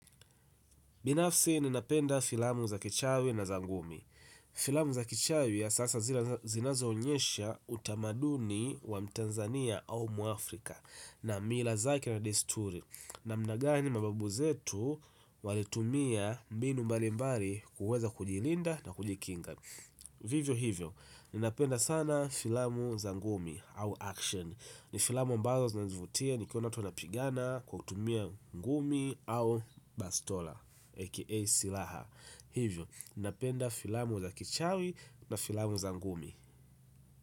Binafsi ninapenda filamu za kichawi na za ngumi. Filamu za kichawi ya sasa zinazo onyesha utamaduni wa mtanzania au mwafrika na mila zake na desturi namna gani mababu zetu walitumia mbinu mbalimbali kuweza kujilinda na kujikinga. Vivyo hivyo, ninapenda sana filamu za ngumi au action. Ni filamu ambazo zinanivutia nikiona watu wanapigana kwa kutumia ngumi au bastola A.K.A silaha. Hivyo, ninapenda filamu za kichawi na filamu za ngumi.